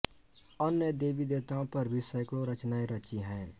अन्य देवी देवताओं पर भी सैकडों रचनाएं रचीं हैं